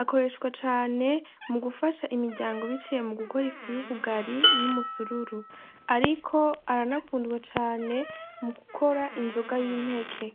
akoreshwa cane mu gufasha imiryango biciye mu gukora ifu y'ubugari n'umusururu, ariko aranakundwa cane mu gukora inzoga y'impeke.